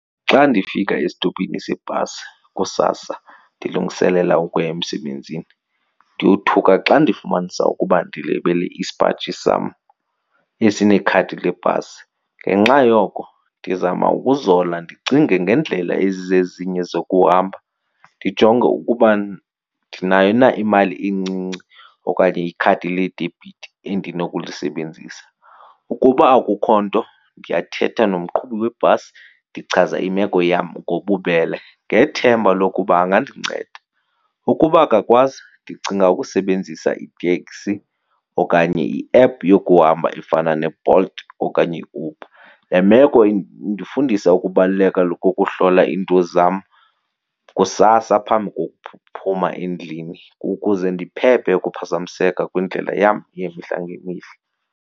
Xa ndifika estopini seebhasi kusasa ndilungiselela ukuya emsebenzini ndiyothuka xa ndifumanisa ukuba ndilibele isipaji sam esinekhadi lebhasi. Ngenxa yoko ndizama ukuzola ndicinge ngeendlela ezizezinye zokuhamba, ndijonge ukuba ndinayo na imali encinci okanye ikhadi ledebhithi endinokulisebenzisa. Ukuba akukho nto ndiyathetha nomqhubi webhasi ndichaza imeko yam ngobubele ngethemba lokuba angandinceda. Ukuba akakwazi ndicinga ukusebenzisa iteksi okanye i-app yokuhamba efana neBolt okanye iUber. Le meko indifundisa ukubaluleka kokuhlola iinto zam kusasa phambi kokuphuma endlini ukuze ndiphephe ukuphazamiseka kwindlela yam yemihla ngemihla.